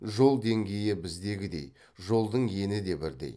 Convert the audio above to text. жол деңгейі біздегідей жолдың ені де бірдей